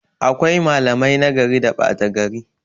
Akwai malamai nagari da ɓata gari